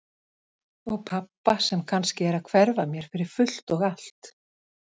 Og pabba sem kannski er að hverfa mér fyrir fullt og allt.